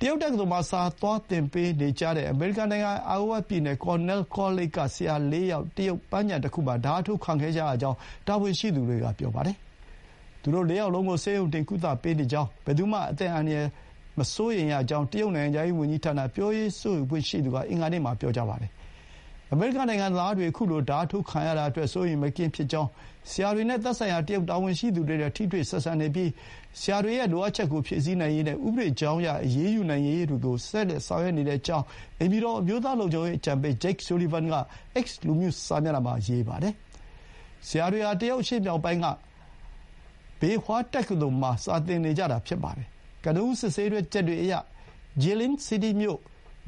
တရုတ်တက္ကသိုလ်မှာ စာသွားသင်ပေးနေကြတဲ့ အမေရိကန်နိုင်ငံ အိုင်အိုဝါပြည်နယ် ကော်နဲလ်ကောလိပ် Cornell College က ဆရာ ၄ ယောက် တရုတ်ပန်းခြံတခုမှာ ဓားထိုးခံခဲ့ကြရကြောင်း တာဝန်ရှိသူတွေက ပြောပါတယ်။ သူတို့ ၄ ယောက်လုံးကို ဆေးရုံတင် ကုသပေးနေကြောင်း၊ ဘယ်သူမှ အသက်အန္တရာယ်မစိုးရိမ်ရကြောင်း တရုတ်နိုင်ငံခြားရေးဝန်ကြီးဌာန ပြောရေးဆိုခွင့်ရှိသူက အင်္ဂါနေ့မှာ ပြောကြားပါတယ်။ အမေရိကန်နိုင်ငံသားတွေ ခုလိုဓားထိုးခံရတာအတွက် စိုးရိမ်မကင်း ဖြစ်ကြောင်း၊ ဆရာတွေနဲ့ သက်ဆိုင်ရာ တရုတ်တာဝန်ရှိသူတွေနဲ့ ထိတွေ့ဆက်ဆံနေပြီး ဆရာတွေရဲ့လိုအပ်ချက်ကို ဖြည့်ဆည်းနိုင်ရေးနဲ့ ဥပဒေကြောင်းအရအရေးယူနိုင်ရေးတွေကို ဆောင်ရွက်နေကြောင်း အိမ်ဖြူတော် အမျိုးသားလုံခြုံရေး အကြံပေး ဂျိတ်ဆူလီဗန် (Jake Sullivan) က X လူမှုစာမျက်နှာမှာ ရေးပါတယ်။ ဆရာတွေဟာ တရုတ်အရှေ့မြောက်ပိုင်းက ဘေဟွာတက္ကသိုလ် (Beihua University) မှာ စာသင်နေကြတာ ဖြစ်ပါတယ်။ ကနဦး စစ်ဆေးချက်တွေအရ Jilin city မြို့